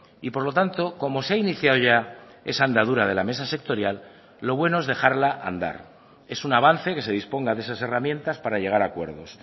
y por lo tanto como se ha iniciado ya esa andadura de la mesa sectorial lo bueno es dejarla andar es un avance que se disponga de esas herramientas para llegar a acuerdos